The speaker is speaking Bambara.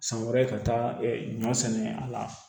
San wɛrɛ ka taa ɲɔ sɛnɛ a la